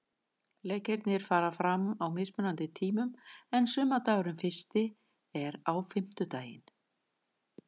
Leikirnir fara fram á mismunandi tímum en sumardagurinn fyrsti er á fimmtudaginn.